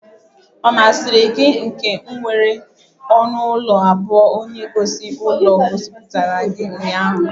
Ọ masịrị gị ụlọ nke nwere ọnụ ụlọ abụọ onye gosi ulo gosipụtara gị ụnyaahụ?